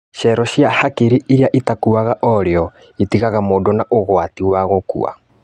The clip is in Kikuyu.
Cero cia hakiri irĩa itakuaga orĩo itigaga mũndũ na ugwati wa gũkua